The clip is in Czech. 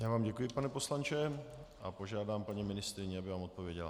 Já vám děkuji, pane poslanče, a požádám paní ministryni, aby vám odpověděla.